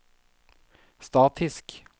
statisk